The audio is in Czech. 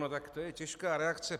No tak to je těžká reakce.